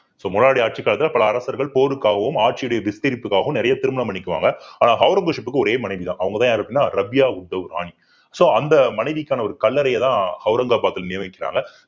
so முன்னாடி ஆட்சி காலத்துல பல அரசர்கள் போருக்காகவும் ஆட்சியுடைய விஸ்திரிப்புக்காகவும் நிறைய திருமணம் பண்ணிக்குவாங்க ஆனா ஔரங்கசீப்கு ஒரே மனைவிதான் அவங்கதான் யாரு அப்படின்னா ரபியா உத்தவ் ராணி so அந்த மனைவிக்கான ஒரு கல்லறையைதான் அவுரங்கபாத்ல நியமிக்கிறாங்க